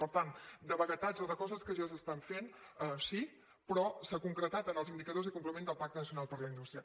per tant de vaguetats o de coses que ja s’estan fent sí però s’ha concretat en els indicadors i complements del pacte nacional per a la indústria